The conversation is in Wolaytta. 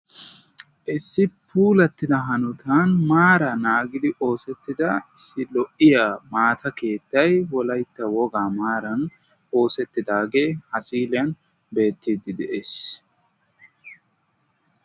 issi puulatida maara naagetidi oossettidi keettay wolaytta wogaa maaran oosetida keettay ha misiliyan beetees.